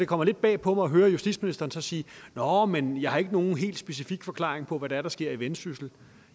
kommer lidt bag på mig at høre justitsministeren sige nåh men jeg har ikke nogen helt specifik forklaring på hvad det er der sker i vendsyssel